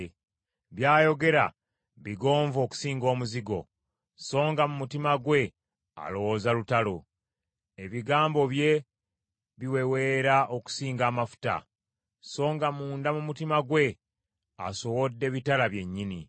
By’ayogera bigonvu okusinga omuzigo, so nga mu mutima gwe alowooza lutalo; ebigambo bye biweweera okusinga amafuta, so nga munda mu mutima gwe asowodde bitala byennyini.